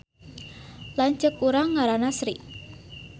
Lanceuk urang ngaranna Sri